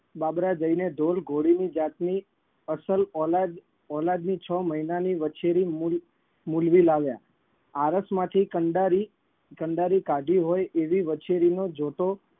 બાબરા જઈને ધોર ઘોડીની જાતની અસલ ઓલાદ ઓલાદની છ મહિનાની વછેરી મુલ મૂલવી લાવ્યા. આરસમાંથી કંડારી કંડારી કાઢી હોય એવી વછેરીનો જોટો